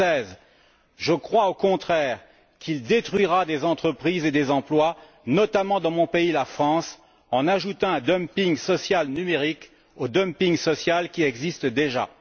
2016. Je crois au contraire qu'il détruira des entreprises et des emplois, notamment dans mon pays, la France, en ajoutant un dumping social numérique au dumping social qui existe déjà.